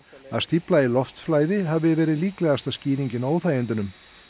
að stífla í loftflæði hafi verið líklegasta skýringin á óþægindunum